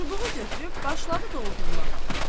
Çubuğu götürüb başladı doldurmağa.